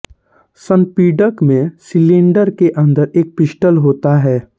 संपीडक में सिलिंडर के अंदर एक पिस्टन होता है